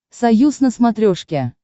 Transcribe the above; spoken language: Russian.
союз на смотрешке